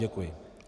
Děkuji.